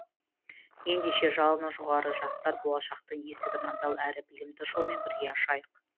ендеше жалыны жоғары жастар болашақтың есігін адал әрі білімді жолмен бірге ашайық